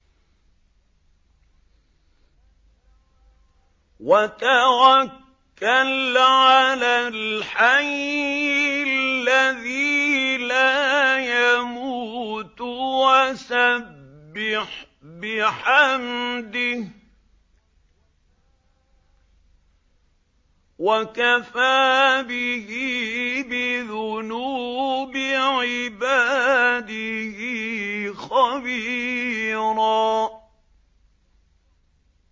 وَتَوَكَّلْ عَلَى الْحَيِّ الَّذِي لَا يَمُوتُ وَسَبِّحْ بِحَمْدِهِ ۚ وَكَفَىٰ بِهِ بِذُنُوبِ عِبَادِهِ خَبِيرًا